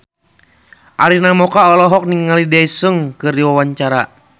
Arina Mocca olohok ningali Daesung keur diwawancara